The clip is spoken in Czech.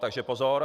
Takže pozor.